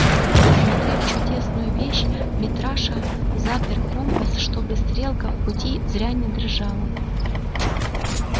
осмотрев чудесную вещь митраша запер компас чтобы стрелка в пути зря не дрожала